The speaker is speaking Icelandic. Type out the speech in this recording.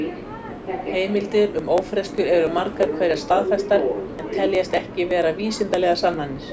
Heimildir um ófreskjur eru margar hverjar staðfestar en teljast ekki vera vísindalegar sannanir.